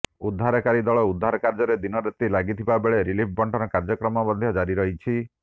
ଉଦ୍ଧାରକାରୀ ଦଳ ଉଦ୍ଧାର କାର୍ଯ୍ୟରେ ଦିନରାତି ଲାଗିଥିବା ବେଳେ ରିଲିଫ୍ ବଣ୍ଟନ କାର୍ଯ୍ୟକ୍ରମ ମଧ୍ୟ ଜାରି ରହିଛି